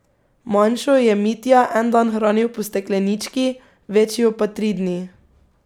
Manjšo je Mitja en dan hranil po steklenički, večjo pa tri dni.